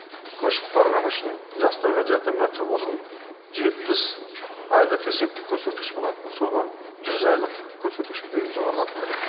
көшіп барғаны үшін жастарға жәрдемақы бұрын жетпіс айлық есептік көрсеткіш болатын соны жүз айлық көрсеткішке дейін жоғарылату керек